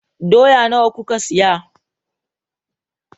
Dawa nawa kuka saya?